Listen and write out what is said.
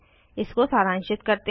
इसको सारांशित करते हैं